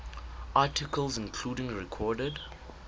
articles including recorded